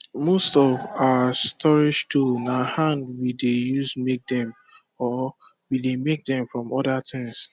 most of our storage tools na hand we dey use make them or we dey make dem from other things